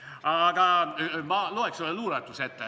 Aga ma loeks ühe luuletuse ette.